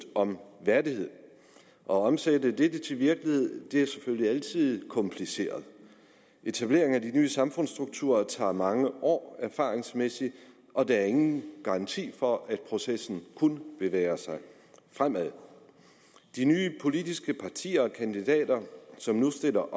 om værdighed at omsætte det til virkelighed er selvfølgelig altid kompliceret etableringen af de nye samfundsstrukturer tager mange år erfaringsmæssigt og der er ingen garanti for at processen kun bevæger sig fremad de nye politiske partier og kandidater som nu stiller